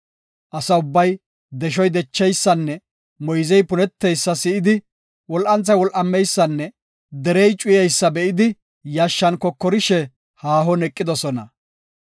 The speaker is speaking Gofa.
Asa ubbay deshoy decheysanne moyzey puneteysa si7idi, wol7anthay wol7ameysanne derey cuyeysa be7idi yashshan kokorishe haahon eqidosona.